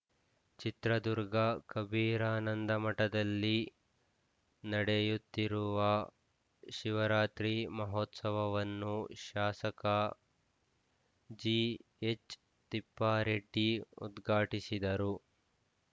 ಚಿತ್ರದುರ್ಗ ಕಬೀರಾನಂದಮಠದಲ್ಲಿ ನಡೆಯುತ್ತಿರುವ ಶಿವರಾತ್ರಿ ಮಹೋತ್ಸವವನ್ನು ಶಾಸಕ ಜಿಎಚ್‌ತಿಪ್ಪಾರೆಡ್ಡಿ ಉದ್ಘಾಟಿಸಿದರು